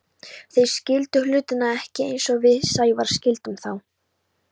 Þeir skildu hlutina ekki eins og við Sævar skildum þá.